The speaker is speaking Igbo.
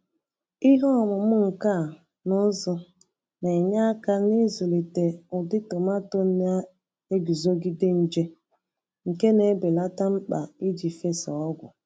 ihe ọmụmụ nka n'ụzụ na-enye aka n’ịzụlite ụdị tomaato na-eguzogide nje, nke na-ebelata mkpa iji fesaa ọgwụ.